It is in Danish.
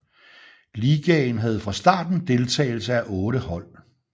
Ligaen havde fra starten deltagelse af otte hold